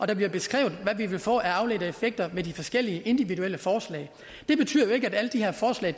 det bliver beskrevet hvad vi vil få af afledte effekter ved de forskellige individuelle forslag det betyder ikke at alle de her forslag